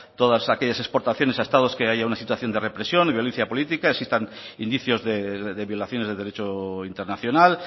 todas aquellas exportaciones a estados que haya una situación de represión de violencia política existan indicios de violaciones de derecho internacional